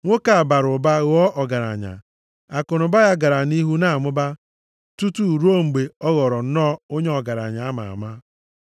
Nwoke a bara ụba, ghọọ ọgaranya. Akụnụba ya gara nʼihu na-amụba, tutu ruo mgbe ọ ghọrọ nnọọ onye ọgaranya a ma ama.